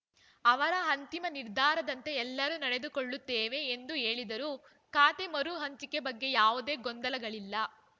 ಅವರ ಅಂತಿಮ ನಿರ್ಧಾರದಂತೆ ಎಲ್ಲರೂ ನಡೆದುಕೊಳ್ಳುತ್ತೇವೆ ಎಂದು ಹೇಳಿದರು ಖಾತೆ ಮರು ಹಂಚಿಕೆ ಬಗ್ಗೆ ಯಾವುದೇ ಗೊಂದಲಗಳಿಲ್ಲ